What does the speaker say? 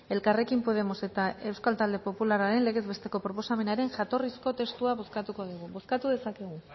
elkarrekin podemos eta euskal talde popularraren legez besteko proposamenaren jatorrizko testua bozkatuko dugu bozkatu dezakegu